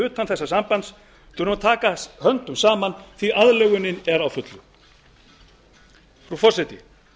utan þessa sambands þurfum að taka höndum saman því að aðlögunin er á fullu frú forseti